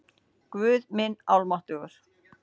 Guð minn almáttugur!